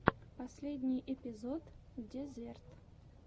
последний эпизод дезерт